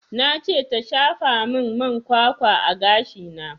Na ce ta shafa min man kwakwa a gashi na